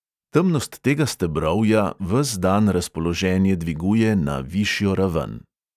Temnost tega stebrovja ves dan razpoloženje dviguje na višjo raven.